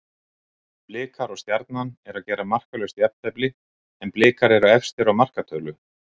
Blikar og Stjarnan eru að gera markalaust jafntefli en Blikar eru efstir á markatölu.